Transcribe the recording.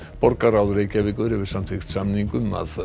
borgarráð Reykjavíkur hefur samþykkt samning um að